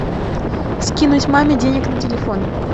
скинуть маме денег на телефон